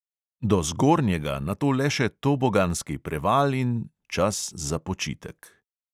Do zgornjega nato le še toboganski preval in ... čas za počitek.